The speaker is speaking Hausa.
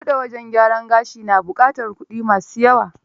Buɗe wajen gyaran gashi na buƙatar kuɗi ma su yawa.